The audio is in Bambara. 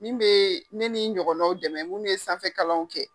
Min be ni n ɲɔgɔnnaw dɛmɛ munnu ye sanfɛ kalanw kɛ.